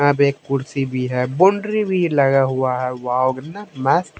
यहां पे एक कुर्सी भी है बॉउंड्री भी लगा हुआ है वॉव कितना --